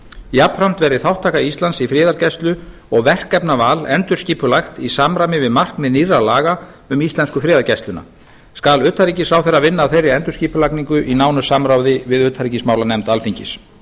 jafnframt verði þátttaka íslands í friðargæslu og verkefnaval endurskipulagt í samræmi við markmið nýrra laga um íslensku friðargæsluna skal utanríkisráðherra vinna að þeirri endurskipulagningu í nánu samráði við utanríkismálanefnd alþingis